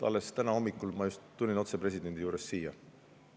Alles täna hommikul ma tulin otse presidendi juurest siia.